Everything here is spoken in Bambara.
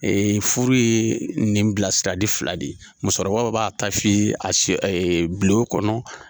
furu ye nin bilasirali fila de ye musokɔrɔba b'a ta f'i ye bulon kɔnɔ.